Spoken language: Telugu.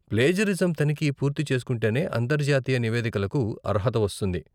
ప్లేజరిజం తనిఖీ పూర్తి చేసుకుంటేనే అంతర్జాతీయ నివేదికలకు అర్హత వస్తుంది.